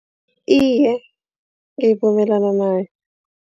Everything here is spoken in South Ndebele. Iye ngivumelana nayo.